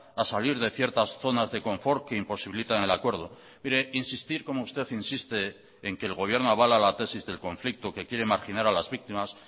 a salir de ciertas zonas de confort que imposibilitan el acuerdo mire insistir como usted insiste en que el gobierno avala la tesis del conflicto que quiere marginar a las víctimas